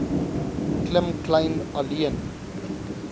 klim kleyn alleen